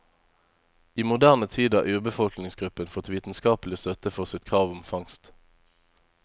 I moderne tid har urbefolkningsgruppen fått vitenskapelig støtte for sitt krav om fangst.